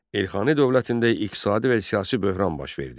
Elxani dövlətində iqtisadi və siyasi böhran baş verdi.